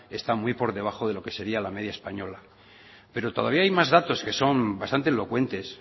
están muy por debajo de lo que sería la media española pero todavía hay más datos que son bastante elocuentes